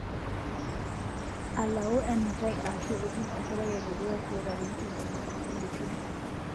Alau enutai aashu itum enkerai e dukuya toolarin tomoni uni odukuya.